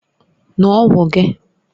Ṅụọ ọgwụ gị!